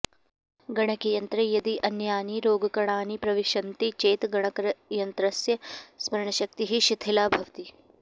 गणकयन्त्रे यदि अन्यानि रोगकणानि प्रविशन्ति चेत् गणकयन्त्रस्य स्मरणशक्तिः शिथिला भवति